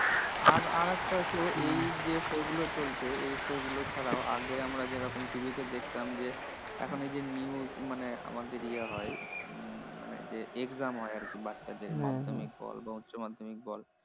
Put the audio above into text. আর আর আরেকটা তো এই যে show গুলো চলছে। এই show গুলো ছাড়াও আগে আমরা যেরকম TV তে দেখতাম যে, এখন এই যে news মানে আমাদের ইয়ে হয় উম মানে যে exam হয় আরকি বাচ্চাদের মাধ্যমিক বল বা উচ্চমাধ্যমিক বল